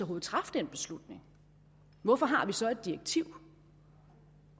kunne træffe den beslutning hvorfor har vi så et direktiv